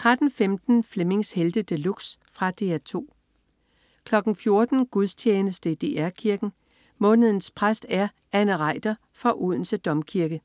13.15 Flemmings Helte De Luxe. Fra DR 2 14.00 Gudstjeneste i DR Kirken. Månedens præst er Anne Reiter fra Odense Domkirke